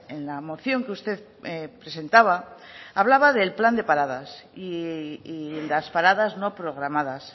en la moción que usted presentaba hablaba del plan de paradas y las paradas no programadas